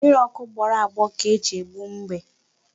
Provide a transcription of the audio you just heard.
Mmiri ọkụ gbọrọ agbọ ka e ji egbu mbe.